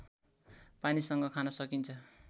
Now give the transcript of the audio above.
पानीसँग खान सकिन्छ